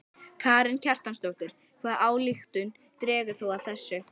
Karen Kjartansdóttir: Hvaða ályktun dregur þú af þessu?